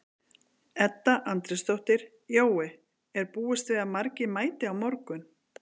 Edda Andrésdóttir: Jói, er búist við að margir mæti á morgun?